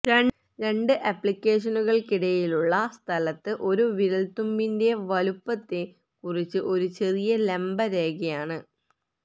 രണ്ട് ആപ്ലിക്കേഷനുകൾക്കിടയിലുള്ള സ്ഥലത്ത് ഒരു വിരൽത്തുമ്പിന്റെ വലുപ്പത്തെ കുറിച്ച് ഒരു ചെറിയ ലംബ രേഖയാണ്